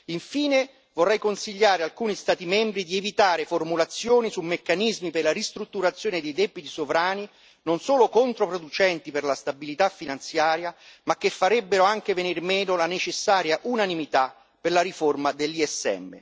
Infine, vorrei consigliare alcuni Stati membri di evitare formulazioni su meccanismi per la ristrutturazione di debiti sovrani non solo controproducenti per la stabilità finanziaria ma che farebbero anche venir meno la necessaria unanimità per la riforma dell'ESM.